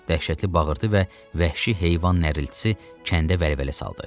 Dəhşətli bağırtı və vəhşi heyvan narıltısı kəndə vəlvələ saldı.